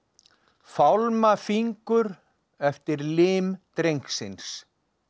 fálma fingur eftir lim drengsins